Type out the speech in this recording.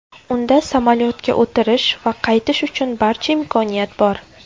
Unda samolyotga o‘tirish va qaytish uchun barcha imkoniyat bor.